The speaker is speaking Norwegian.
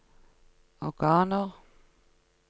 organer